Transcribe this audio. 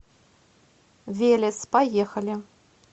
велес поехали